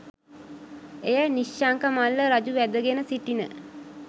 එය නිශ්ශංක මල්ල රජු වැදගෙන සිටින